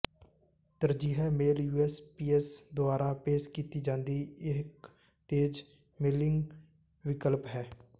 ਤਰਜੀਹ mail USPS ਦੁਆਰਾ ਪੇਸ਼ ਕੀਤੀ ਜਾਂਦੀ ਇੱਕ ਤੇਜ਼ ਮੇਲਿੰਗ ਵਿਕਲਪ ਹੈ